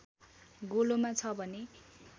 गोलोमा छ भने